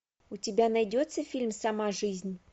у тебя найдется фильм сама жизнь